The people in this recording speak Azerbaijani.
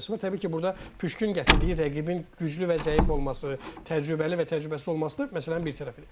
Təbii ki, burda püşkün gətirdiyi rəqibin güclü və zəif olması, təcrübəli və təcrübəsiz olması məsələnin bir tərəfidir.